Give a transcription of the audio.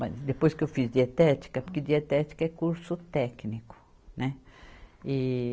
Mas depois que eu fiz dietética, porque dietética é curso técnico, né? e